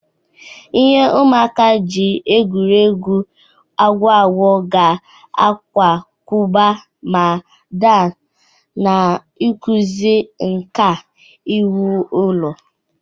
Ihe ụmụaka ji egwuri egwu akwụ akwụ ga-akwakọba ma daa, na-akụzi nka iwu ụlọ.